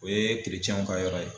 O ye kirecɛnw ka yɔrɔ ye.